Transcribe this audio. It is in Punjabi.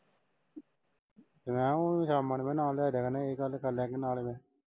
ਮੈਂ ਕਿਹਾ ਉਹਨੂੰ ਬਣਾਇਆ ਲਿਆ ਇਹ ਗੱਲ ਕਰਲਿਆ ਗੀ ਨਾਲ ਈ।